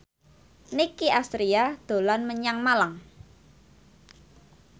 Nicky Astria dolan menyang Malang